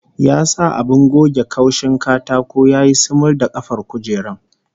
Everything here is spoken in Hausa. Ya sa abin goge kaushin katako ya yi sumul da kafar kujerar